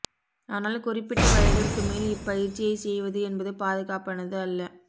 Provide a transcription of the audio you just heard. ஆனால் குறிப்பிட்ட வயதிற்கு மேல் இப்பயிற்சியை செய்வது என்பது பாதுகாப்பானது அல்ல